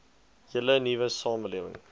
hele nuwe samelewing